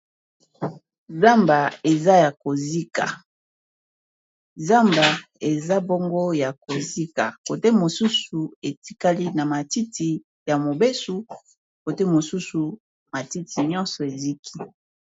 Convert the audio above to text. zamba eza ya kozika zamba eza bongo ya kozika kote mosusu etikali na matiti ya mobesu kote mosusu matiti nyonso eziki